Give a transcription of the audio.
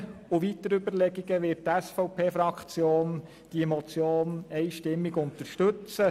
Aufgrund dieser und weiterer Überlegungen wird die SVP-Fraktion diese Motion einstimmig unterstützen.